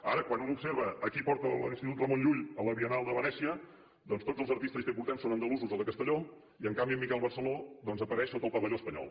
ara quan un observa qui porta l’institut ramon llull a la biennal de venècia doncs tots els artistes que hi portem són andalusos o de castelló i en canvi en miquel barceló doncs apareix sota el pavelló espanyol